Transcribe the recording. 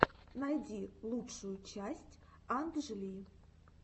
найди лучшую часть анджли